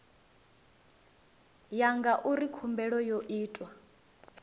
ya ngauri khumbelo yo itwa